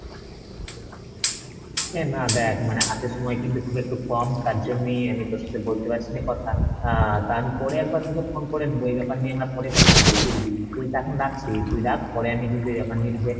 না দেখ মানে হাতে সময় কিন্তু খুব একটু কম তার জন্যেই আমি তোর সাথে বলতে পারছি না কথা আহ তা আমি পরে একবার তোকে phone করে নেবো, এই ব্যাপার নিয়ে আমরা পরে কথা বলবো, বুঝলি? এখন রাখছি তুই রাখ পরে আমি কিন্তু এই ব্যাপার নিয়ে তোকে